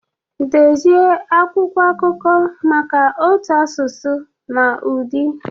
Dezie akwụkwọ akụkọ maka ụtọ asụsụ na ụdị.